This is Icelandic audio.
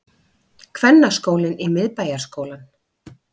Kvennaskólinn í Miðbæjarskólann